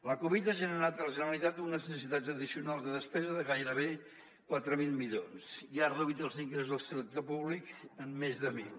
la covid ha generat a la generalitat unes necessitats addicionals de despesa de gairebé quatre mil milions i ha reduït els ingressos del sector públic en més de mil